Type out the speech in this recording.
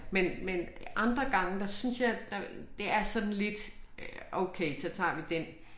Men men andre gange der synes jeg der det er sådan lidt øh okay så tager vi den